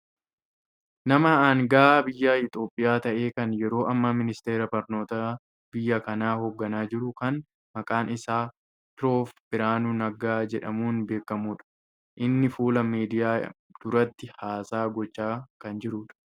Nama anga'aa biyya Itiyoophiyaa ta'e kan yeroo ammaa ministeera barnootaa biyya kanaa hoogganaa jiru kan maqaan isaa prof Biraanuu Naggaa jedhamuun beekkamudha. Inni fuula miidiyaa duratti haasaa gochaa kan jirudha.